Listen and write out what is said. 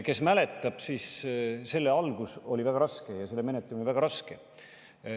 Kes mäletab, siis selle algus oli väga raske ja selle menetlemine väga raske.